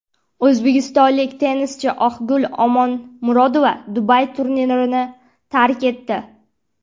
O‘zbekistonlik tennischi Oqgul Omonmurodova Dubay turnirini tark etdi.